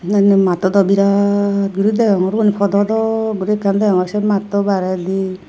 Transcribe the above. nanne matto dw birat guri deongor uban podo dok guri ekkan deongor se matto baredi.